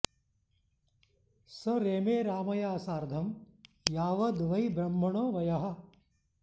स रेमे रामया सार्धं यावद् वै ब्रह्मणो वयः